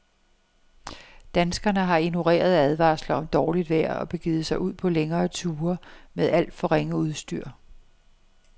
Danskerne har ignoreret advarsler om dårligt vejr og begivet sig ud på længere ture med alt for ringe udstyr.